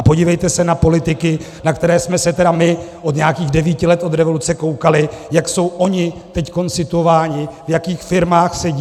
A podívejte se na politiky, na které jsme se tedy my od nějakých devíti let od revoluce koukali, jak jsou oni teď situováni, v jakých firmách sedí.